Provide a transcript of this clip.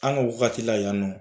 An ka wagati la yan nɔ.